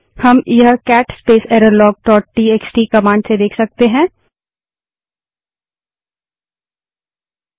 हम यह cat space error log dot TXT cat space error log dot TXT command से देख सकते हैं